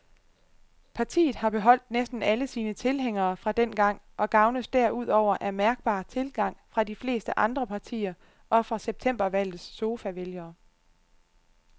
Partiet har beholdt næsten alle sine tilhængere fra dengang og gavnes derudover af mærkbar tilgang fra de fleste andre partier og fra septembervalgets sofavælgere.